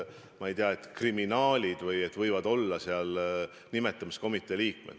Ma ei tea, et kriminaalid võivad olla nimetamiskomitee liikmed.